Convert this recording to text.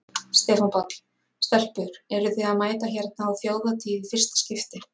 Stefán Páll: Stelpur eruð þið að mæta hérna á Þjóðhátíð í fyrsta skipti?